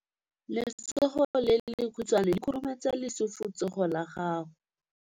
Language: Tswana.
Letsogo le lekhutshwane le khurumetsa lesufutsogo la gago.